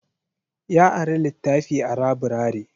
Ya ari littafi a laburare.